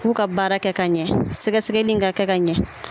K'u ka baara kɛ ka ɲɛ sɛgɛ sɛgɛli in ka kɛ ka ɲɛ.